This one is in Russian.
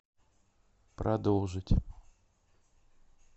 продолжить